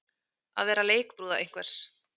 Að vera leikbrúða einhvers